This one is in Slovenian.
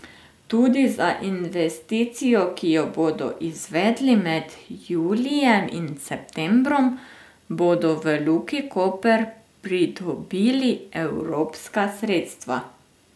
Tudi za investicijo, ki jo bodo izvedli med julijem in septembrom, bodo v Luki Koper pridobili evropska sredstva.